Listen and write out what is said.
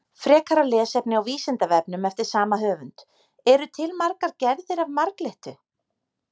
Frekara lesefni á Vísindavefnum eftir sama höfund: Eru til margar gerðir af marglyttu?